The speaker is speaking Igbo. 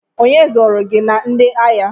Onye zụrụ gị na ndị agha?